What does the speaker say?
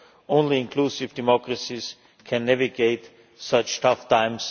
Only inclusive democracies can navigate such tough times.